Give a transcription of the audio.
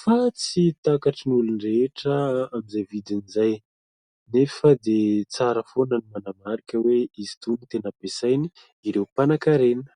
fa tsy takatrin'ny olon-drehetra amin'izay vidiny izay. Nefa dia tsara foana ny manamarika hoe izy itony no tena ampiasainy ireo mpanan-karena.